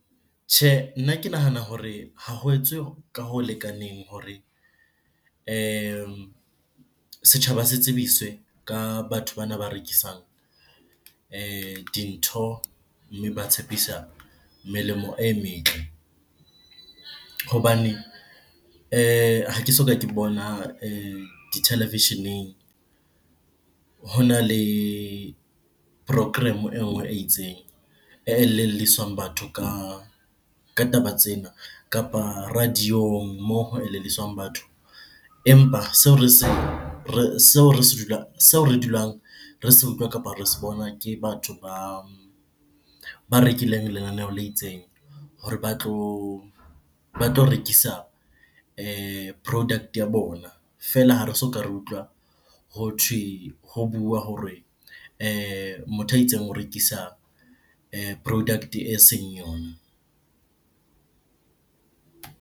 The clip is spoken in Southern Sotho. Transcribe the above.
Tjhe, nna ke nahana hore ha ho etswe ka ho lekaneng hore setjhaba se tsebiswe ka batho bana ba rekisang dintho, mme ba tshepiswa melemo e metle. Hobane ha ke soka ke bona dithelevisheneng hona le program eo e itseng. E elelliswang batho ka taba tsena kapa radio-ong moo ho elelliswang batho. Empa seo re dulang re se utlwa kapa re se bona ke batho ba rekileng lenaneo le itseng hore ba tlo rekisa product ya bona. Feela, ha re soka re utlwa hothwe, ho bua hore motho a itseng o rekisa product-e eseng yona.